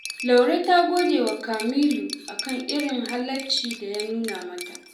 Laure ta gode wa Kamilu a kan irin halaccin da ya nuna mata